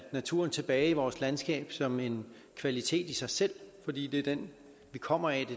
naturen tilbage i vores landskab som en kvalitet i sig selv fordi det er den vi kommer af